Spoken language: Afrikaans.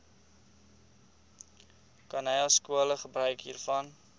khanyaskole gebruik hiervan